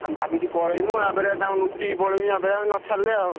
ଆମେ ଭାବିଛୁ ପଳେଇବୁ ଆ ପରେ ତାଙ୍କୁ ଲୁଚିକି ପଳେଇବି ଯଦି ନ ଛାଡିଲେ ଆଉ।